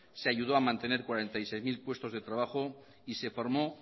se ayudó a mantener cuarenta y seis mil puestos de trabajo y se formó